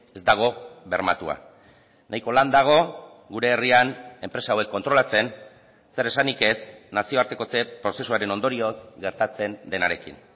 ez dago bermatua nahiko lan dago gure herrian enpresa hauek kontrolatzen zer esanik ez nazioartekotze prozesuaren ondorioz gertatzen denarekin